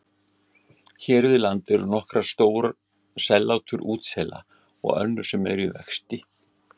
Hér við land eru nokkur stór sellátur útsela og önnur sem eru í vexti.